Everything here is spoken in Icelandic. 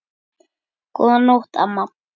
Góða nótt, amma.